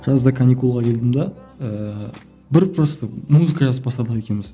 жазда каникулға келдім де ііі бір просто музыка жазып бастадық екеуміз